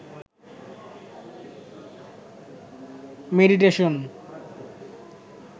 meditation